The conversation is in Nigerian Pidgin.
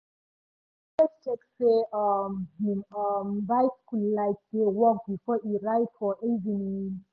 e dey always check say um him um bicycle light dey work before e ride for evening.